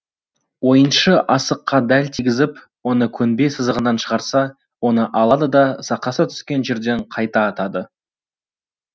ойыншы асыққа дәл тигізіп оны көнбе сызығынан шығарса оны алады да сақасы түскен жерден қайта атады